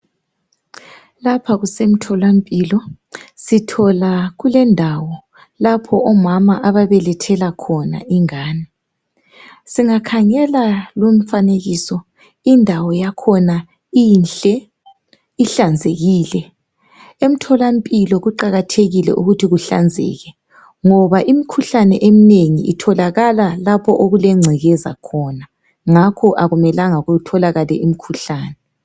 lapha kusemtholampilo sithola kulendawo lapho omama ababelethela khona ingane singakhangela lumfanekiso indawo yakho inhle ihlanzekile emtholampilo kuqakathekile ukuthi kuhlanzeke ngoba imkhuhlane emnengi itholakala lapho okulencekeza khona ngakho akumelanga kutholakale imkhuhlane